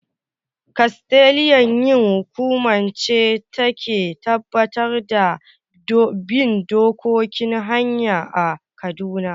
"KASTLEA" hi kuma ce da ta Ke tabbatar da bin dokokin hanya a kaduna